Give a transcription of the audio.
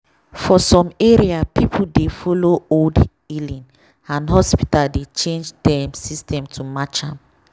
for some area people dey follow old healing and hospital dey change dem system to match am.